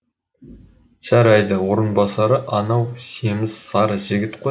жарайды орынбасары анау семіз сары жігіт қой